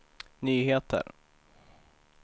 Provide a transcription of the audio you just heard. nyheter